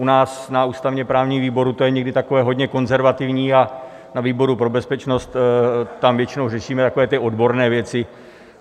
U nás na ústavně-právním výboru to je někdy takové hodně konzervativní a na výboru pro bezpečnost, tam většinou řešíme takové ty odborné věci.